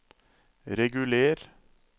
reguler